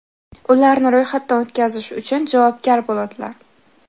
ularni ro‘yxatdan o‘tkazish uchun javobgar bo‘ladilar.